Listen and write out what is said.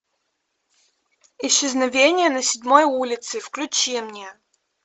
исчезновение на седьмой улице включи мне